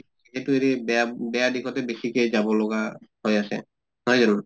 সেইটো এৰি বেয়া বেয়া দিশতে বেছিকে যাব লগা হৈ আছে, নহয় জানো?